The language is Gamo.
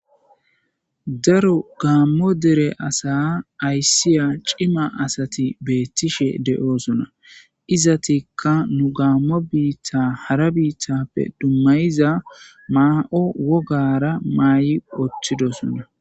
Daaro gaamo deere asa aysiza ciima asati betishe de7ossona izzetika nu gammo biitta hara biitappe dumayiza ma7o woggara mayidi uttidosona.